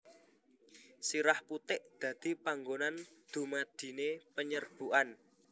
Sirah putik dadi panggonan dumadine penyerbukan